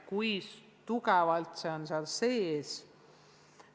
Kui tugevalt on see harjumus sees?